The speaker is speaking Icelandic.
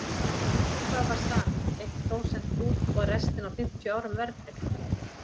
Upp á hvað var samið, eitt prósent út og restina á fimmtíu árum verðtryggt?